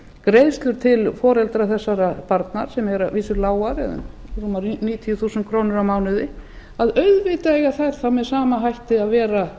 greiðslur til foreldra þessara barna sem eru að vísu lágar eða rúmar níutíu þúsund krónur á mánuði að auðvitað eiga þær þá með sama hætti að vera